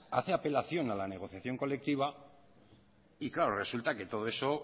hace apelación a la negociación colectiva y claro resulta que todo eso